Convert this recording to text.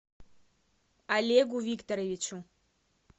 олегу викторовичу